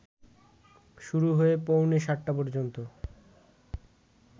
শুরু হয়ে পৌনে ৭টা পর্যন্ত